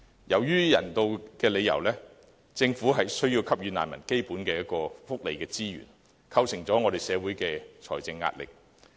由於人道理由，政府需要給予難民基本福利支援，構成社會財政壓力。